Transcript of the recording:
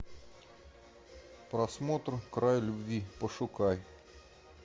просмотр край любви пошукай